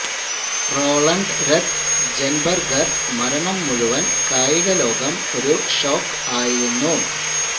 Roland Ratzenberger മരണം മുഴുവൻ കായിക ലോകം ഒരു ഷോക്ക് ആയിരുന്നു